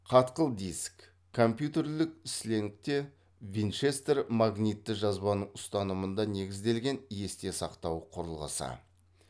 қатқыл диск компьютерлік сленгте винчестер магнитті жазбаның ұстанымында негізделген есте сақтау құрылғысы